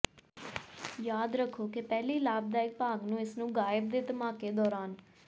ਯਾਦ ਰੱਖੋ ਕਿ ਪਹਿਲੀ ਲਾਭਦਾਇਕ ਭਾਗ ਨੂੰ ਇਸ ਨੂੰ ਗਾਇਬ ਦੇ ਧਮਾਕੇ ਦੌਰਾਨ